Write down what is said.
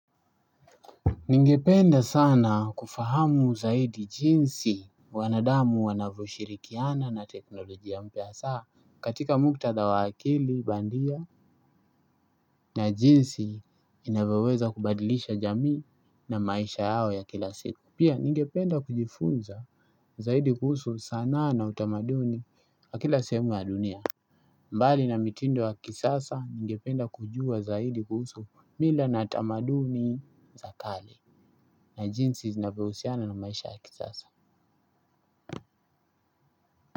Ningependa sana kufahamu zaidi jinsi wanadamu wanavyo shirikiana na teknolojia mpya hasaa. Katika muktadha wa akili bandia na jinsi inavyoweza kubadilisha jamii na maisha yao ya kila siku. Pia ningependa kujifunza zaidi kuhusu sanaa na utamaduni wa kila sehemu ya dunia. Mbali na mitindo ya kisasa ningependa kujua zaidi kuhusu mila na tamaduni za kale. Na jinsi zinavyohusiana na maisha ya kisasa.